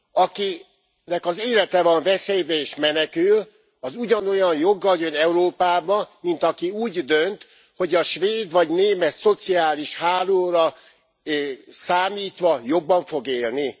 Akinek az élete van veszélyben és menekül, az ugyanolyan joggal jön Európába, mint aki úgy dönt, hogy a svéd vagy német szociális hálóra számítva jobban fog élni?